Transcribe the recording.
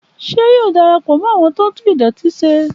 Ṣé yóò darapọ mọ awọn tó tún idọti se?